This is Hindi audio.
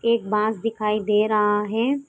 एक बांस दिखाई दे रहा है।